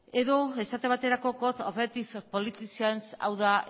edo esate baterako code of ethics for politicians hau da